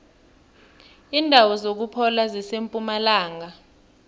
indawo zokuphola zisempumalanga